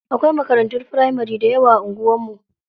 Akwai makarantun firamari dayawa a anguwar mu.